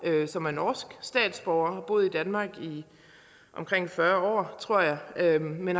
som er norsk statsborger og boet i danmark i omkring fyrre år tror jeg jeg men